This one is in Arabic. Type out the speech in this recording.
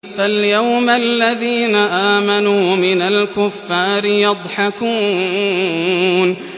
فَالْيَوْمَ الَّذِينَ آمَنُوا مِنَ الْكُفَّارِ يَضْحَكُونَ